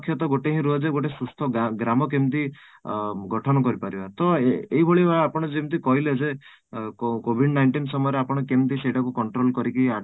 ଲକ୍ଷ୍ୟ ତ ଗୋଟେ ହିଁ ରୁହେ ଯେ ଗୋଟେ ସୁସ୍ଥ ଗ୍ରାମ କେମିତି ଅଂ ଗଠନ କରିପାରିବା ତ ଏଇଭଳି ଭାବେ ଆପଣ ଯେମିତି କହିଲେ ଯେ covid nineteen ସମୟରେ କେମିତି ସେଇଟାକୁ control କରିକି